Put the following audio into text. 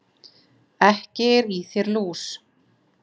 Ekki er í þér lús,